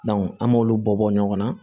an m'olu bɔ bɔ ɲɔgɔn na